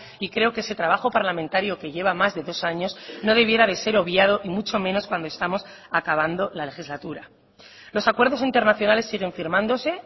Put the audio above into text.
y creo que ese trabajo parlamentario que lleva más de dos años no debiera de ser obviado y mucho menos cuando estamos acabando la legislatura los acuerdos internacionales siguen firmándose